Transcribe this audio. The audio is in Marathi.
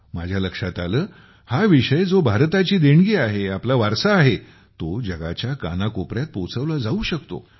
माझ्या लक्षात आले हा विषय जो भारताची देणगी आहे आपला वारसा आहे तो जगाच्या कानाकोपऱ्यात पोचवला जाऊ शकतो